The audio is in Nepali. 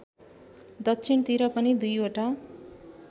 दक्षिणतिर पनि दुईवटा